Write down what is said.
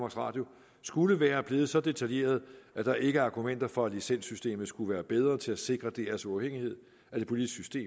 radio skulle være blevet så detaljeret at der ikke er argumenter for at licenssystemet skulle være bedre til at sikre drs uafhængighed af det politiske